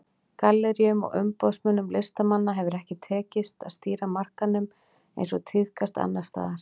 Galleríum og umboðsmönnum listamanna hefur ekki tekist að stýra markaðnum eins og tíðkast annars staðar.